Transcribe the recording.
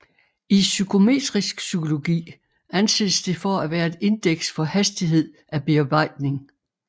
I psykometrisk psykologi anses det for at være et indeks for hastighed af bearbejdning